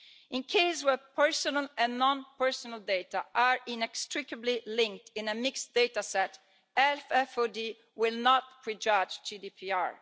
In cases where personal and non personal data are inextricably linked in a mixed data set, FFoD will not prejudge GDPR.